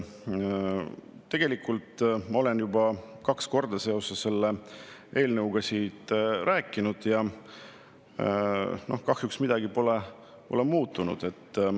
Tegelikult ma olen juba kaks korda seoses selle eelnõuga siit rääkinud ja kahjuks midagi pole muutunud.